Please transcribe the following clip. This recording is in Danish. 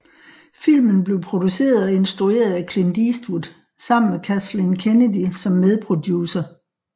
Filmen blev produceret og instrueret af Clint Eastwood sammen med Kathleen Kennedy som medproducer